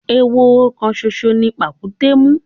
Ehoro kan ṣoṣo ni pàkúté mú.